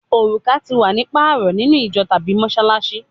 Oruka ti wa ni paarọ ninu ijo tabi Mossalassi